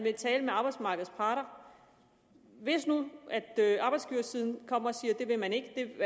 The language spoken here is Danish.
vil tale med arbejdsmarkedets parter hvis nu arbejdsgiversiden kommer og siger at det vil man ikke